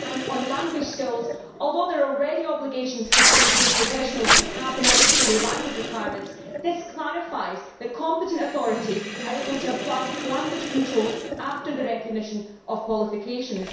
On language skills, although there are already obligations for professionals to have the necessary language requirements, this clarifies that competent authorities are able to apply language controls after the recognition of qualifications.